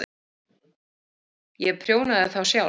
Ég prjónaði þá sjálf.